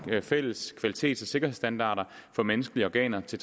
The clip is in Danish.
fælles kvalitets og sikkerhedsstandarder for menneskelige organer til